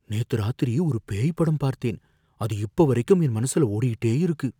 நேத்து ராத்திரி ஒரு பேய் படம் பார்த்தேன், அது இப்ப வரைக்கும் என் மனசுல ஓடிக்கிட்டே இருக்கு.